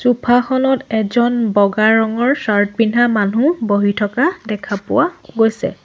Sofa খনত এজন বগা ৰঙৰ চাৰ্ট পিন্ধা মানুহ বহি থকা দেখা পোৱা গৈছে।